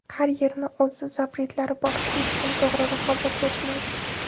Har yerni o‘z ‘zapret’lari bor, hech kim to‘g‘ri raqobatlashmaydi.